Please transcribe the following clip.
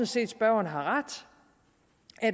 set at spørgeren har ret